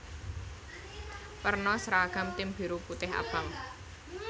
Werna sragam tim biru putih abang